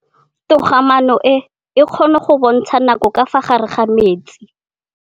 Toga-maanô e, e kgona go bontsha nakô ka fa gare ga metsi.